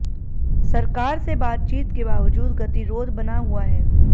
सरकार से बातचीत के बावजूद गतिरोध बना हुआ है